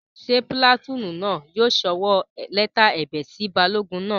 Ṣé pìlàtúùnù náà yóò sọwọ́ lẹ́tà ẹ̀bẹ̀ sí balógun náà?